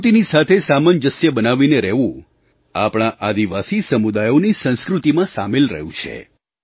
પ્રકૃતિની સાથે સામંજસ્ય બનાવીને રહેવું આપણા આદિવાસી સમુદાયોની સંસ્કૃતિમાં સામેલ રહ્યું છે